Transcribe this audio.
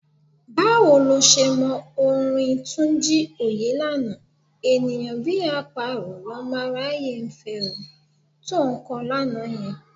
Báwo lo ṣe mọ orin Túnjí Òyélànà: "... ènìyàn bí àparò lọmọ aráyé ń fẹ...", to ń kọ lánàá yẹn?